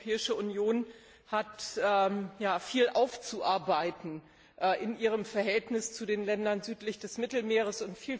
Die Europäische Union hat ja viel aufzuarbeiten in ihrem Verhältnis zu den Ländern südlich des Mittelmeers.